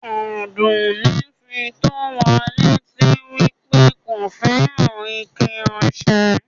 Àdùnì fí tó wà lẹ́tì wí pé kò fẹ́ran ìkẹ̀ ọṣẹ̀.